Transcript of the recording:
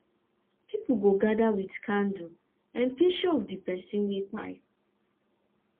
pipo go gada wit candle an pishur of di pesin wey kpai